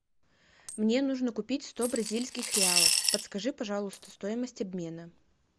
мне нужно купить сто бразильских реалов подскажи пожалуйста стоимость обмена